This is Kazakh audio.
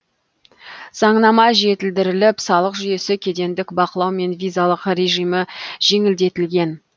заңнама жетілдіріліп салық жүйесі кедендік бақылау мен визалық режимі жеңілдетілген